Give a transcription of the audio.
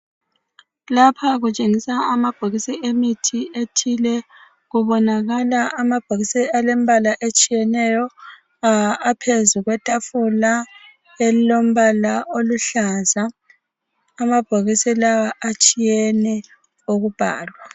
lapha kutshengisa amabhokisi emithi ethile kubonakala amabhokisi alempala etshiyeneyo aphezulu kwetafula elilompala oluhlaza amabhokisi lawa atshiyene ukubhalwa